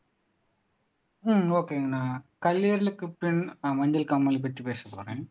உம் ஒகேங்க நான் கல்லீரலுக்குப் பின் மஞ்சள் காமாலைப் பத்தி பேசப் போறேன்